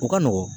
U ka nɔgɔn